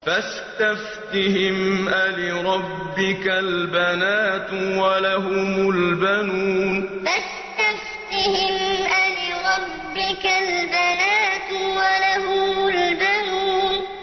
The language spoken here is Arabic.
فَاسْتَفْتِهِمْ أَلِرَبِّكَ الْبَنَاتُ وَلَهُمُ الْبَنُونَ فَاسْتَفْتِهِمْ أَلِرَبِّكَ الْبَنَاتُ وَلَهُمُ الْبَنُونَ